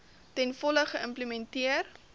ten volle geïmplementeer